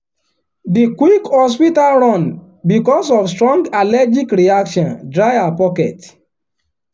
the quick hospital run because of strong allergic reaction dry her pocket.